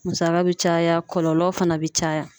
Musaka bɛ caya kɔlɔlɔ fana bɛ caya.